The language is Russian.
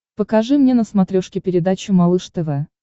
покажи мне на смотрешке передачу малыш тв